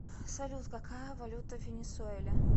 салют какая валюта в венесуэле